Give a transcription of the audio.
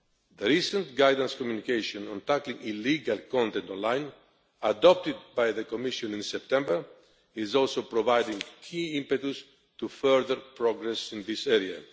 The recent guidance Communication on Tackling Illegal Content Online adopted by the Commission in September also provides key impetus for further progress in this area.